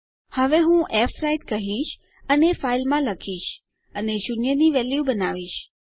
હવે હું ફ્વ્રાઇટ કહીશ અને ફાઇલમાં લખીશ અને શૂન્ય ની વેલ્યુ બનાવીશ